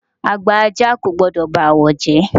Àgbà ajá kò gbọ́dọ̀ ba awo jẹ́.